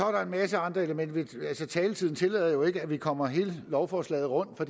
er en masse andre elementer men taletiden tillader jo ikke at vi kommer hele lovforslaget rundt for